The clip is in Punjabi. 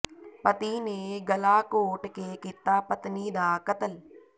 ਪਤੀ ਨੇ ਗਲਾ ਘੋਟ ਕੇ ਕੀਤਾ ਪਤਨੀ ਦਾ ਕਤਲ